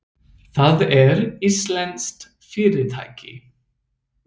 Það er íslenskt fyrirtæki.